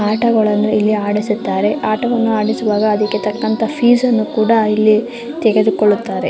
ಆಟಗಳನ್ನು ಇಲ್ಲಿ ಆಡಿಸುತ್ತಾರೆ ಆಟವನ್ನು ಆಡಿಸುವಾಗ ಅದಕ್ಕೆ ತಕ್ಕಂಥ ಫೀಸ್ ಅನ್ನು ಇಲ್ಲಿ ತೆಗೆದುಕೊಳ್ಳುತ್ತ್ತಾರೆ.